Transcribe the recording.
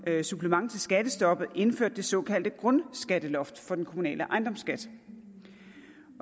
supplement til skattestoppet indførte det såkaldte grundskatteloft for den kommunale ejendomsskat